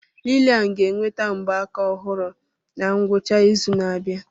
Lillian ga-enweta mgbaaka ọhụrụ na ngwụcha izu na-abịa.